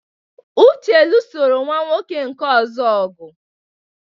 Uche lụsoro nwa nwoke nke ọzọ ọgụ.